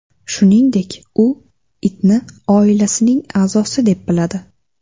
Shuningdek, u itni oilasining a’zosi deb biladi.